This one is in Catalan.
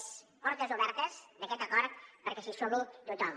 és portes obertes d’aquest acord perquè s’hi sumi tothom